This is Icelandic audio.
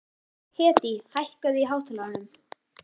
Hedí, hækkaðu í hátalaranum.